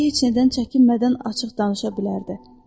İndi heç nədən çəkinmədən açıq danışa bilərdi.